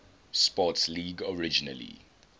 sports league originally